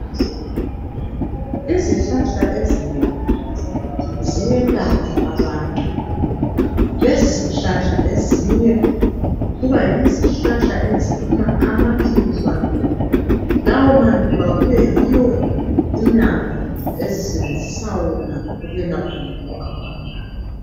Izihlahla ezinengi ziyelapha abantu. Lezi zihlahla ezinye kuba yizihlahla eziphuma amaluba, lawo maluba kube yiwo inyanga ezisebenzisa wona ukwelapha abantu.